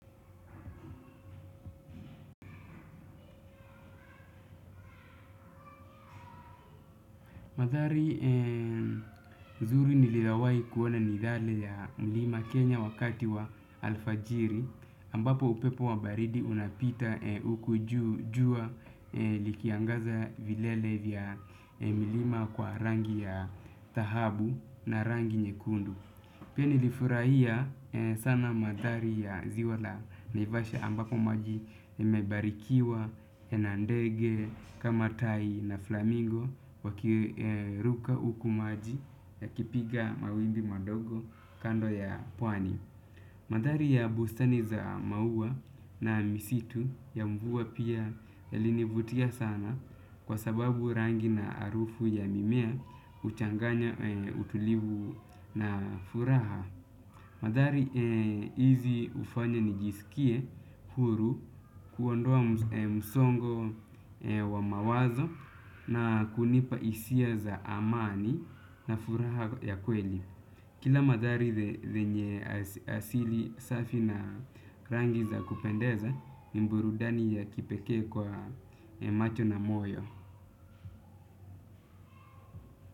Mandhari mazuri nililawai kuwa na ni yale ya mlima Kenya wakati wa alfajiri ambapo upepo wa baridi unapita huku jua likiangaza vilele vya milima kwa rangi ya dhahabu na rangi nyekundu. Pia nilifurahia sana mandhari ya ziwa la Naivasha ambapo maji ibarikiwa na ndege kama tai na flamingo wakiruka huku maji yakipiga mawimbi madogo kando ya pwani. Mandhari ya bustani za maua na misitu ya mvua pia yalinivutia sana kwa sababu rangi na harufu ya mimea huchanganya utulivu na furaha. Mandhari hizi hufanya nijisikie huru kuondoa msongo wa mawazo na kunipa hisia za amani na furaha ya kweli. Kila mandhari zenye asili safi na rangi za kupendeza ni burudani ya kipekee kwa macho na moyo.